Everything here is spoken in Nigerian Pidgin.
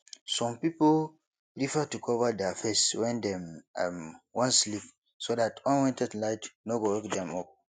some pipo prefer to cover their face when dem um wan sleep so dat unwanted light no go wake dem up